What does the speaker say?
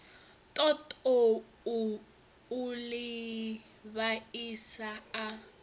ṱoḓou u ḽi vhaisa a